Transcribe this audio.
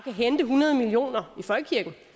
hente hundrede million er